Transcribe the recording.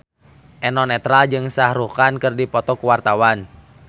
Eno Netral jeung Shah Rukh Khan keur dipoto ku wartawan